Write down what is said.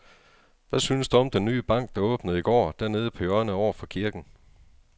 Hvad synes du om den nye bank, der åbnede i går dernede på hjørnet over for kirken?